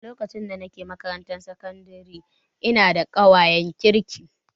A lokacin da nake makarantar sakandare ina da ƙawayen kirki